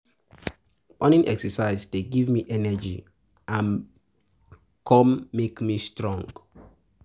Morning exercise dey give me energy and come make come make me strong.